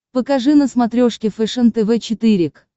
покажи на смотрешке фэшен тв четыре к